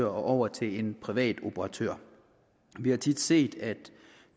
over til en privat operatør vi har tit set at